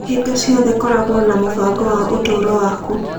Hingo ciothe koragwo na mũbango wa ũtũũro waku.